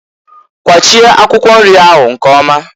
Kwachie akwụkwọ nri ahụ nkeoma!